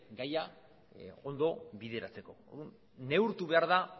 gaia ondo bideratzeko neurtu behar da